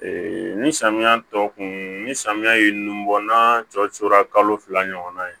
ni samiya tɔ kun ni samiya ye nun bɔ na cɔcora kalo fila ɲɔgɔnna yen